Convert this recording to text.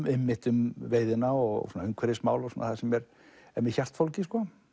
einmitt um veiðina og umhverfismál og það sem er mér hjartfólgið